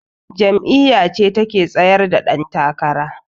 Jam'iyyace take tsaryar da dan takara.